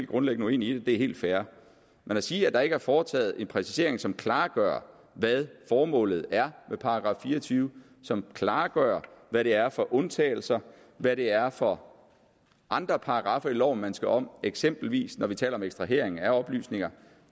grundlæggende uenig i det det er helt fair men at sige at der ikke er foretaget en præcisering som klargør hvad formålet er med § fire og tyve som klargør hvad det er for undtagelser hvad det er for andre paragraffer i loven man skal om eksempelvis når vi taler om ekstrahering af oplysninger